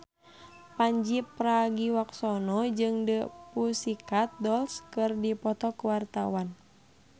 Pandji Pragiwaksono jeung The Pussycat Dolls keur dipoto ku wartawan